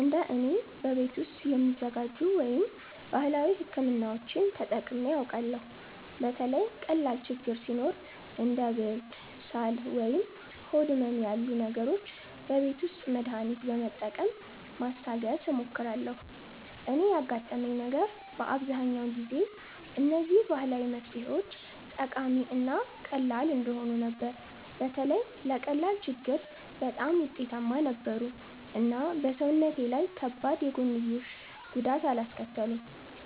እንደ እኔ፣ በቤት ውስጥ የሚዘጋጁ ወይም ባህላዊ ሕክምናዎችን ተጠቅሜ አውቃለሁ። በተለይ ቀላል ችግኝ ሲኖር እንደ ብርድ፣ ሳል ወይም ሆድ ህመም ያሉ ነገሮች በቤት ውስጥ መድሃኒት በመጠቀም ማስታገስ እሞክራለሁ። እኔ ያጋጠመኝ ነገር በአብዛኛው ጊዜ እነዚህ ባህላዊ መፍትሄዎች ጠቃሚ እና ቀላል እንደሆኑ ነበር። በተለይ ለቀላል ችግኝ በጣም ውጤታማ ነበሩ እና በሰውነቴ ላይ ከባድ የጎንዮሽ ጉዳት አላስከተሉም።